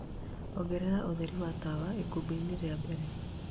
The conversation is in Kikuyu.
ongerera ũtherĩ wa tawa ikumbi ini ria mbere..